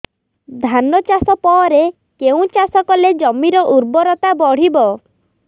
ଧାନ ଚାଷ ପରେ କେଉଁ ଚାଷ କଲେ ଜମିର ଉର୍ବରତା ବଢିବ